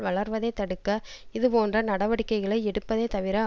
வளர்வதைத் தடுக்க இது போன்ற நடவடிக்கைகளை எடுப்பதை தவிர